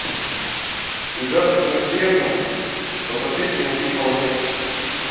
связаться с консьержем попросить принести полотенце